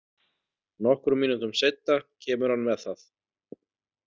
Nokkrum mínútum seinna kemur hann með það.